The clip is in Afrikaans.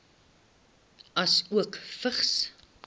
asook vigs